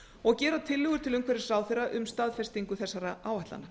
og gera tillögur til umhverfisráðherra um staðfestingu þessara áætlana